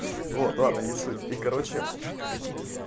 вот ладно не суть и короче